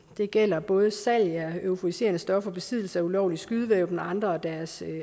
det gælder både salg af euforiserende stoffer besiddelse af ulovlige skydevåben og andre af deres